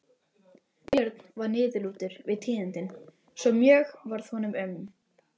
Björn varð niðurlútur við tíðindin svo mjög varð honum um.